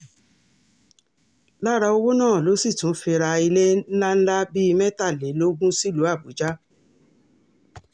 lára owó náà ló sì tún fi ra ilé ńlá ńlá bíi mẹ́tàlélógún sílùú àbújá